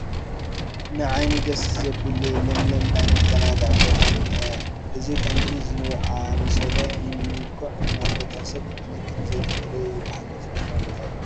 ንዓይኒ ደስ ዘብል ለምለም ናይ መዘናግዒ ቦታ እኒሀ፡፡ እዚ ከምዚ ዝኣምሰለ ምልኩዕ ቦታ ናይ ሰብ ክንክን ዘየትፈልዮ እዩ፡፡ ብሓቂ ተፈታዊ ቦታ እዩ፡፡